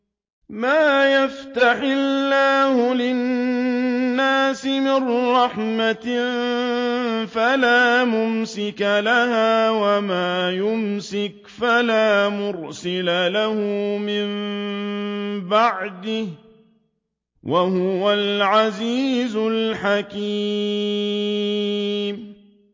مَّا يَفْتَحِ اللَّهُ لِلنَّاسِ مِن رَّحْمَةٍ فَلَا مُمْسِكَ لَهَا ۖ وَمَا يُمْسِكْ فَلَا مُرْسِلَ لَهُ مِن بَعْدِهِ ۚ وَهُوَ الْعَزِيزُ الْحَكِيمُ